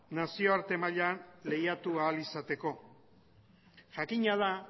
nazioarte mailan lehiatu ahal izateko jakina da